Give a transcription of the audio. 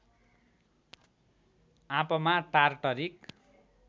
आँपमा टार्टरिक